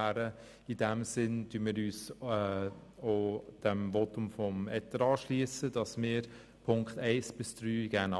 In diesem Sinn schliessen wir uns dem Votum Etter dahingehend an, als dass wir die Ziffern 1 bis 3 gerne